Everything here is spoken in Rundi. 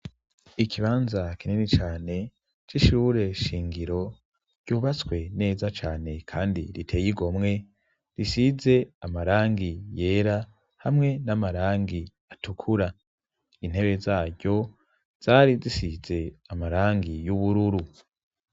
Ikibanza kinini cane c'ishure shingiro ryubatswe neza cane kandi giteye igomwe risize amarangi yera hamwe n'amarangi atukura intebe zaryo zari zisize amarangi y'ubururu.